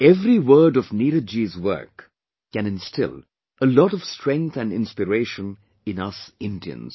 Every word of Neeraj ji's work can instill a lot of strength & inspiration in us Indians